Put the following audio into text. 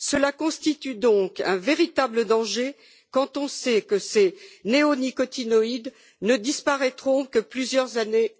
Cela constitue donc un véritable danger quand on sait que ces néonicotinoïdes ne disparaîtront qu'après plusieurs années.